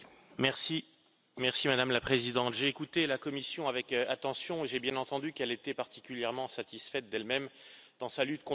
Madame la Présidente, j'ai écouté la Commission avec attention et j'ai bien entendu qu'elle était particulièrement satisfaite d'elle même dans sa lutte contre les fausses informations.